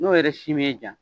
N'o yɛrɛ si m'e diya